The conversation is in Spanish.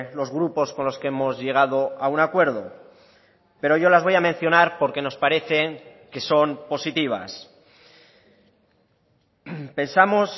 los grupos con los que hemos llegado a un acuerdo pero yo las voy a mencionar porque nos parecen que son positivas pensamos